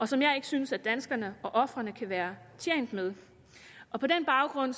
som jeg ikke synes at danskerne og ofrene kan være tjent med og på den baggrund